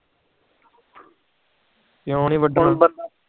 ਕਿਉ ਨੀ ਵਾਦਨ